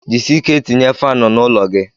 Jisie ike tinye faanụ n'ụlọ gi